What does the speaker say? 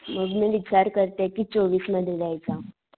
मग मी विचार करतीये कि चोवीस मध्ये देयचा.